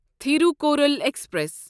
Thirukkural express